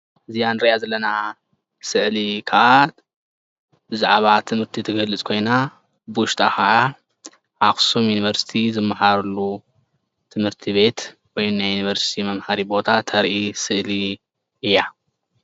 እዚኣ ንሪኣ ዘለና ስእሊ ከኣ ብዛዕባ ትምርቲ ትገልፅ ኮይና ብዉሽጣ ከዓ ኣክሱም ዩኒቨርሲቲ ዝመሃርሉ ትምህቲ ቤት ወይ ናይ ዩኒቨሪሲቲ መምህሪ ቦታ ተሪ ስእሊ እያ::